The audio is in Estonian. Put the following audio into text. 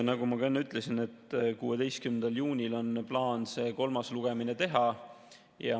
Nagu ma enne ütlesin, 16. juunil on plaan see kolmas lugemine teha.